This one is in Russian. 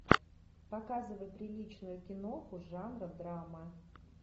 показывай приличную киноху жанра драма